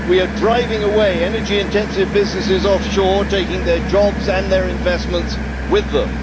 We are driving energy intensive businesses away off shore, taking their jobs and their investments with them.